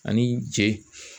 Ani cɛ